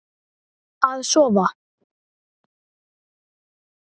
Að sofa.